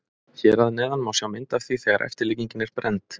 Hér að neðan má sjá mynd af því þegar eftirlíkingin er brennd.